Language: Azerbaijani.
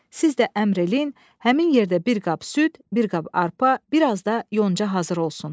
Siz də əmr eləyin, həmin yerdə bir qab süd, bir qab arpa, bir az da yonca hazır olsun.